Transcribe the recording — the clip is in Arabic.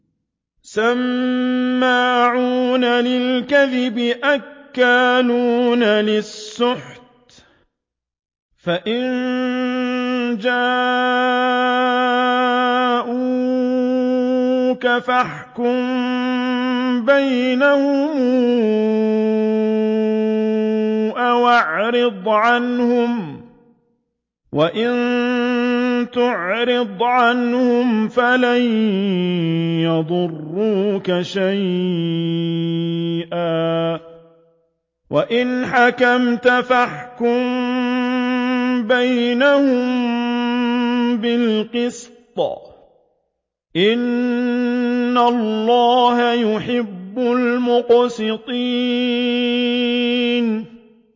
سَمَّاعُونَ لِلْكَذِبِ أَكَّالُونَ لِلسُّحْتِ ۚ فَإِن جَاءُوكَ فَاحْكُم بَيْنَهُمْ أَوْ أَعْرِضْ عَنْهُمْ ۖ وَإِن تُعْرِضْ عَنْهُمْ فَلَن يَضُرُّوكَ شَيْئًا ۖ وَإِنْ حَكَمْتَ فَاحْكُم بَيْنَهُم بِالْقِسْطِ ۚ إِنَّ اللَّهَ يُحِبُّ الْمُقْسِطِينَ